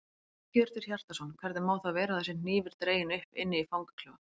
Hjörtur Hjartarson: Hvernig má það vera að það sé hnífur dreginn upp inni í fangaklefa?